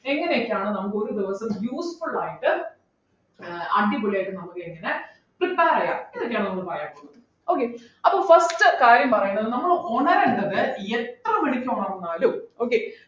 എങ്ങനെയൊക്കെയാണ് നമുക്ക് ഒരു ദിവസം useful ആയിട്ട് ആഹ് അടിപൊളിയായിട്ട് നമുക്കെങ്ങനെ prepare ചെയ്യാം എന്നൊക്കെയാണ് നമ്മള് പറയാൻ പോകുന്നത് okay അപ്പോ first കാര്യം പറയുന്നത് നമ്മളു ഉണരണ്ടത് എത്ര മണിക്ക് ഉണർന്നാലും okay